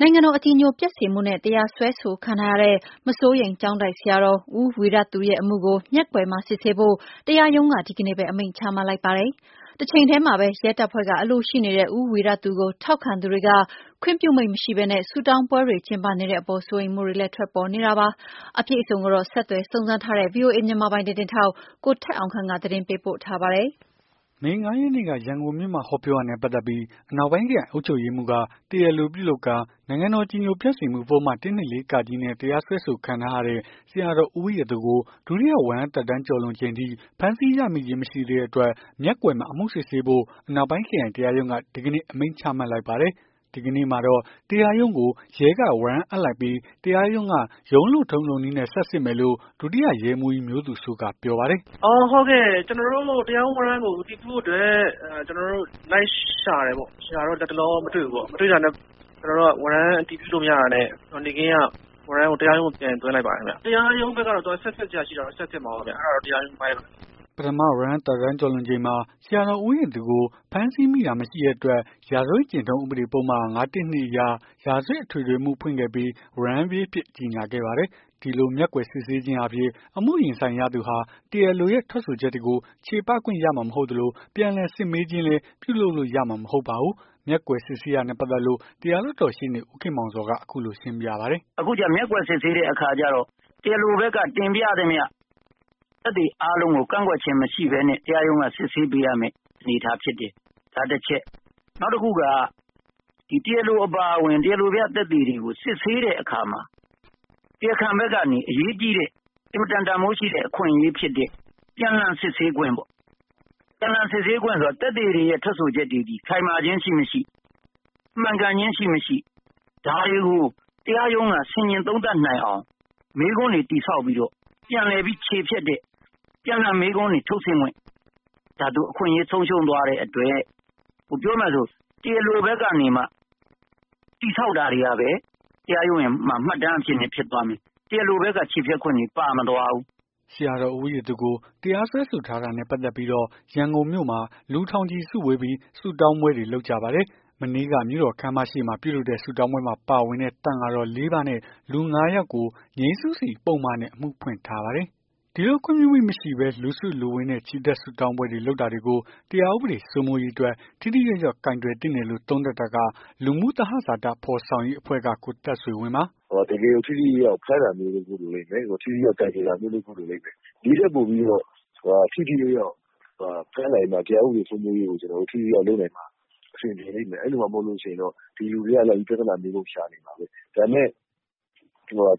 နိုင်ငံတော် အကြည်ညိုပျက်စေမှုနဲ့ တရားစွဲဆိုခံထားရတဲ့ မစိုးရိမ်ကျောင်းတိုက် ဆရာတော် ဦးဝီရသူရဲ့အမှုကို မျက်ကွယ်မှာ စစ်ဆေးဖို့ တရားရုံးက ဒီနေ့ပဲ အမိန့်ချမှတ်လိုက်ပါတယ်။ တချိန်တည်းမှာပဲ ရဲတပ်ဖွဲ့က အလိုရှိနေတဲ့ ဦးဝီရသူကို ထောက်ခံသူတွေက ခွင့်ပြုမိန့်မရှိဘဲ ဆုတောင်းပွဲတွေ ကျင်းပနေတဲ့အပေါ် စိုးရိမ်မှုတွေလည်း ထွက်ပေါ်နေတာပါ။ အပြည့်အစုံကိုတော့ ဆက်သွယ်စုံစမ်းထားတဲ့ ဗွီအိုအေ မြန်မာပိုင်း သတင်းထောက် ကိုထက်အောင်ခန့်က သတင်းပေးပို့ထားပါတယ်။ မေ ၅ ရက်နေ့က ရန်ကုန်မြို့မှာ ဟောပြောတာနဲ့ ပတ်သက်ပြီး အနောက်ပိုင်း ခရိုင် အုပ်ချုပ်ရေးမှူးက တရားလိုပြုလုပ်ကာ နိုင်ငံတော်အကြည်ညိုပျက်စေမှုပုဒ်မ ၁၂၄ နဲ့ တရားစွဲဆိုခံထားရတဲ့ ဆရာတော်ဦးဝီရသူကို ဒုတိယ ဝရမ်း သက်တမ်းကျော်လွန်ချိန်ထိ ဖမ်းဆီးရမိခြင်း မရှိသေးတဲ့အတွက် မျက်ကွယ်မှာ အမှုစစ်ဆေးဖို့ အနောက်ပိုင်း ခရိုင် တရားရုံးက ဒီကနေ့ အမိန့်ချမှတ်လိုက်ပါတယ်။ ဒီကနေ့မှာတော့ တရားရုံးကို ရဲက ဝရမ်းအပ်လိုက်ပြီး တရားရုံးက ရုံးလုပ်ထုံးလုပ်နည်းနဲ့ ဆက်စစ်မယ်လို့ ဒုတိယ ရဲမှူးကြီး မျိုးသူစိုးက ပြောပါတယ်။ "ကျနော်တို့အခု တရားရုံးဝရမ်းကို အတည်ပြုဖို့အတွက် လိုက်ရှာတယ်ပေါ့။ ရှာတော့ လတ်တလော မတွေ့ဘူးပေါ့။ မတွေ့တာနဲ့ ဝရမ်းအတည်ပြုလို့ မရတာနဲ့ နေ့ခင်းက ဝရမ်းကို တရားရုံးကို ပြန်သွင်းလိုက်ပါတယ် ခင်ဗျ။ တရားရုံးဘက်ကတော့ ဆက်စစ်စရာရှိတာ ဆက်စစ်မှာပေါ့။ အဲ့ဒါတော့ တရားရုံးအပိုင်းပေါ့။" ပထမ ဝရမ်းသက်တမ်းကျော်လွန်ချိန်မှာ ဆရာတော်ဦးဝီရသူကို ဖမ်းဆီးမိတာ မရှိတဲ့အတွက် ရာဇဝတ် ကျင့်ထုံး ဥပဒေပုဒ်မ ၅၁၂ အရ ရာဇဝတ် အထွေအထွေအမှု ဖွင့်ခဲ့ပြီး ဝရမ်းပြေးအဖြစ် ကြေငြာခဲ့ပါတယ်။ ဒီလို မျက်ကွယ် စစ်ဆေးခြင်းအားဖြင့် အမှုရင်ဆိုင်ရသူဟာ တရားလိုရဲ့ ထွက်ဆိုချက်တွေကို ချေပခွင့် ရမှာ မဟုတ်သလို ပြန်လှန် စစ်မေးခြင်းလည်း ပြုလုပ်လို့ရမှာလည်း မဟုတ်ပါဘူး။ မျက်ကွယ်စစ်ဆေးတာနဲ့ ပတ်သက်လို့ တရားလွှတ်တော် ရှေ့နေ ဦးခင်မောင်ဇော်က အခုလို ရှင်းပြပါတယ်။ "အခုကျ မျက်ကွယ်စစ်ဆေးတဲ့အခါကျတော့ တရားလိုဘက်က တင်ပြသမျှ သက်သေအားလုံးကို ကန့်ကွက်ခြင်း မရှိဘဲနဲ့ တရားရုံးက စစ်ဆေးပေးရမယ့် အနေအထားဖြစ်တယ်။ ဒါတချက် နောက်တခုက တရားလို အပါအဝင် တရားလိုပြ သက်သေတွေကို စစ်ဆေးတဲ့အခါမှာ တရားခံဘက်ကနေ အရေးကြီးတဲ့ အင်မတန် တန်ဖိုးရှိတဲ့ အခွင့်အရေးဖြစ်တဲ့ ပြန်လှန်စစ်ဆေးခွင့်ပေါ့။ ပြန်လှန်စစ်ဆေးခွင့်ဆိုတာ သက်သေတွေရဲ့ ထွက်ဆိုချက် တွေသည် ခိုင်မာခြင်း ရှိမရှိ၊ မှန်ကန်ခြင်း ရှိမရှိ ဒါတွေကို တရားရုံးက ဆင်ခြင် သုံးသပ်နိုင်အောင် မေးခွန်းတွေ တည်ဆောက်ပြီးတော့ ပြန်လှန်ပြီး ချေဖျက်တဲ့ ပြန်လှန်မေးခွန်းတွေ ထုတ်ဆင့်ခွင့် ဒါသူအခွင့်အရေး ဆုံးရှုံးသွားတဲ့အတွက် ပြောမယ်ဆို တရားလိုဘက်ကနေမှ တည်ဆောက်တာတွေကပဲ တရားရုံးမှာ မှတ်တမ်း အဖြစ်နဲ့ ဖြစ်သွားမယ်။ တရားလိုဘက်က ချေဖျက်ခွင့်တွေ ပါမသွားဘူး။" ဆရာတော်ဦးဝီရသူကို တရားစွဲဆိုထားတာနဲ့ ပတ်သက်ပြီးတော့ ရန်ကုန်မြို့မှာ လူထောင်ချီ စုဝေးပြီး ဆုတောင်းပွဲတွေ လုပ်ကြပါတယ်။ မနေ့က မြို့တော် ခန်းမရှေ့မှာ ပြုလုပ်တဲ့ ဆုတောင်းပွဲမှာ ပါဝင်တဲ့ သံဃာတော် လေး ပါးနဲ့ လူ ငါး ယောက်ကို ငြိမ်းစုစီ ပုဒ်မနဲ့ အမှုဖွင့်ထားပါတယ်။ ဒီလိုခွင့်ပြုမိန့် မရှိဘဲ လူစုလူဝေးနဲ့ ချီတက် ဆုတောင်းပွဲ လုပ်တာတွေကို တရားဥပဒေ စိုးမိုးရေးအတွက် ထိထိရောက်ရောက် ကိုင်တွယ်သင့်တယ်လို့ သုံးသပ်တာက လူမှုသဟဇာတ ဖော်ဆောင်ရေးအဖွဲ့က ကိုသက်ဆွေဝင်းပါ။ "တကယ်ကို ထိထိရောက်ရောက် ဖမ်းတာမျိုး လုပ်ဖို့လိုလိမ့်မယ်။ ထိထိရောက်ရောက် ကိုင်တွယ်တာမျိုး လုပ်ဖို့ လိုလိမ့်မယ်။ ဒီထက်ပိုပြီး ထိထိရောက်ရောက် ဖမ်းနိုင်မှ တရားဥပဒေစိုးမိုးရေးကို ထိထိရောက်ရောက် လုပ်နိုင်မှာ အဆင်ပြေလိမ့်မယ်။ အဲ့လိုမှ မဟုတ်လို့ရှိရင် ဒီလူတွေက ပြဿနာမျိုးစုံ ရှာနေမှာပဲ။ ဒါပေမယ့်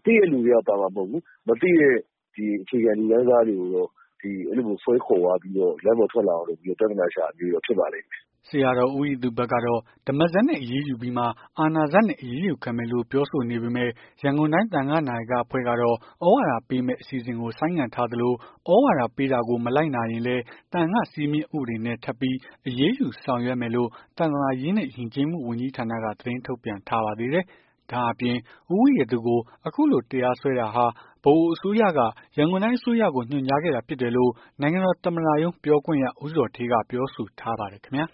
သိတဲ့လူတွေက ပါမှာမဟုတ်ဘူး။ မသိတဲ့ အခြေခံ လူတန်းစားတွေကိုတော့ ဆွဲခေါ်သွားပြီးတော့ လမ်းပေါ် ထွက်လာပြီး ပြဿနာရှာတာမျိုးတွေ ဖြစ်ပါလိမ့်မယ်။" ဆရာတော် ဦးဝီရသူဘက်ကတော့ ဓမ္မစက်နဲ့ အရေးယူပြီးမှ အာဏာစက်နဲ့ အရေးယူခံမယ်လို့ ပြောဆိုနေပေမယ့် ရန်ကုန်တိုင်း သံဃနာယကအဖွဲ့ကတော့ သြဝါဒပေးမယ့် အစီအစဉ်ကို ဆိုင်းငံ့ထားသလို သြဝါဒပေးတာကို မလိုက်နာရင်လည်း သံဃာ့စည်းမျဉ်း ဥပဒေနဲ့ ထပ်ပြီး အရေးယူဆောင်ရွက်မယ်လို့ သာသနာရေးနဲ့ ယဉ်ကျေးမှုဝန်ကြီးဌာနက သတင်းထုတ်ပြန်ထားပါသေးတယ်။ ဒါ့အပြင် ဦးဝီရသူကို အခုလို တရားစွဲတာဟာ ဗဟိုအစိုးရက ရန်ကုန်တိုင်းအစိုးရကို ညွှန်ကြားခဲ့တာ ဖြစ်တယ်လို့ နိုင်ငံတော် သမ္မတရုံး ပြောခွင့်ရ ဦးဇော်ဌေးက ပြောဆိုထားပါတယ် ခင်ဗျာ